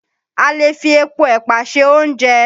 A lè fi epo ẹ̀pà ṣe oúnjẹ